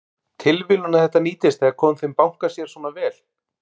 Þorbjörn: Tilviljun að þetta nýtist eða komi þeim banka sér svona vel?